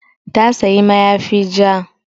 Ta sayi mayafi ja